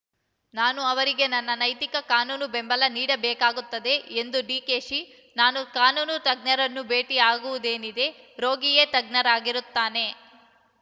ನಾನು ಅವರಿಗೆ ನನ್ನ ನೈತಿಕ ಕಾನೂನು ಬೆಂಬಲ ನೀಡಬೇಕಾಗುತ್ತದೆ ಎಂದ ಡಿಕೆಶಿ ನಾನು ಕಾನೂನು ತಜ್ಞರನ್ನು ಭೇಟಿ ಆಗುವುದೇನಿದೆ ರೋಗಿಯೇ ತಜ್ಞರಾಗಿರುತ್ತಾನೆ